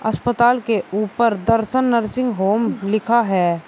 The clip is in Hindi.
अस्पताल के ऊपर दर्शन नर्सिंग होम लिखा है।